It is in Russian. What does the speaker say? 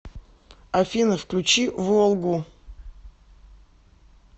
афина включи волгу